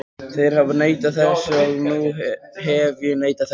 Þeir hafa neitað þessu og nú hef ég neitað þessu.